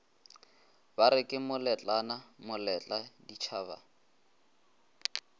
bare ke moletlane moletla ditšhaba